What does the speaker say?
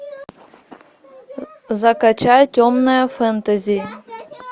закачай темное фэнтези